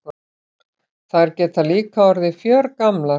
Þær geta líka orðið fjörgamlar.